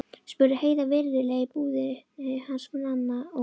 spurði Heiða virðulega í búðinni hans Manna, og